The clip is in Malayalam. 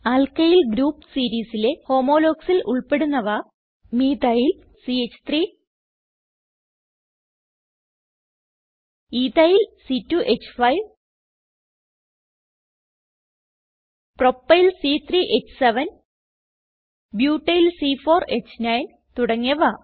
ആൽക്കിൽ ഗ്രൂപ്പ് സീരീസിലെ Homologuesൽ ഉൾപ്പെടുന്നവ മീഥൈൽ ച്ച്3 എത്തിൽ c2ഹ്5 പ്രൊപ്പൈൽ c3ഹ്7 ബ്യൂട്ടിൽ c4ഹ്9 തുടങ്ങിയവ